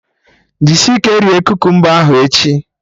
Jisie ike rie kukumba ahụ echi!